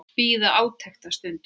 Bíð átekta um stund.